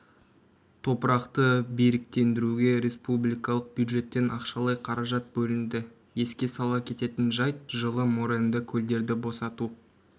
топырақты беріктендіруге республикалық бюджеттен ақшалай қаражат бөлінді еске сала кететін жайт жылы моренді көлдерді босату